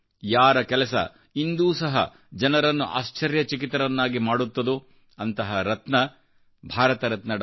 ಯಾರ ಕೆಲಸ ಇಂದೂ ಸಹ ಜನರನ್ನು ಆಶ್ಚರ್ಯಚಕಿತರನ್ನಾಗಿ ಮಾಡುತ್ತದೋ ಅಂತಹ ರತ್ನಭಾರತರತ್ನ ಡಾ